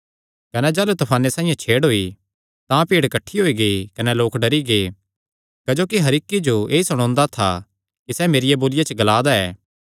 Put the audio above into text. कने जाह़लू तफाने साइआं छेड़ होई तां भीड़ किठ्ठी होई गेई कने लोक डरी गै क्जोकि हर इक्की जो ऐई सुणोदा था कि सैह़ मेरिया बोलिया च ग्ला दा ऐ